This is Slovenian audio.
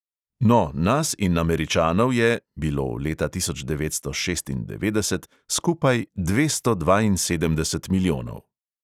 No, nas in američanov je (bilo leta tisoč devetsto šestindevetdeset) skupaj dvesto dvainsedemdeset milijonov.